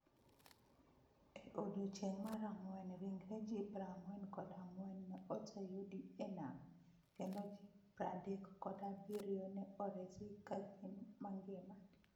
E odiechieng' mar Ang'wen, ringre ji prang'wen kod ang'wen ne oseyudi e nam, kendo ji pradekkod abirio ne oresi ka gin mangima.